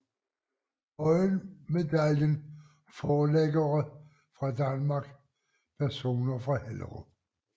Høyen Medaljen Forlæggere fra Danmark Personer fra Hellerup